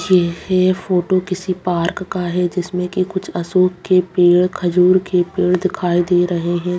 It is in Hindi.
यह फोटो किसी पार्क है जिसमें की कुछ अशोक के पेड़ खजूर के पेड़ दिखाई दे रहे हैं।